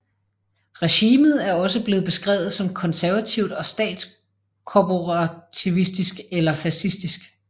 Regimet er også blevet beskrevet som konservativt og statskorporativistisk eller fascistisk